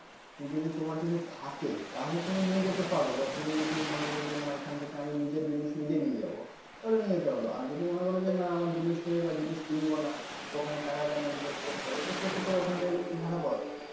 যদি তোমার যদি থাকে তাহলে তুমি নিয়ে যেতে পারো বা তুমি যদি মনে করো যে না এখান থেকে আমি নিজের জিনিস নিজে নিয়ে যাব তাহলে নিয়ে যেতে পার আর যদি মনে করেন আমার জিনিস নেই বা জিনিস কিনব না ওখানে টাকা কেন invest করতে যাবো সে ক্ষেত্রে ওখান থেকে কিন্তু ভাড়া পাওয়া যায়